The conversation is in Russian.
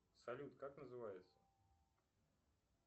салют как называется